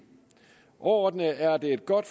overordnet er det et godt